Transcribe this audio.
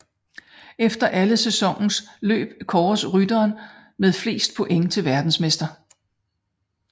Efter alle sæsonens løb kåres rytteren med flest point til verdensmester